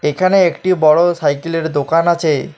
এখানে একটি বড় সাইকেলের দোকান আছে।